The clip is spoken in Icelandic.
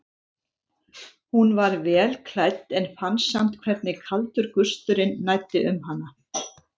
Hún var vel klædd en fann samt hvernig kaldur gusturinn næddi um hana.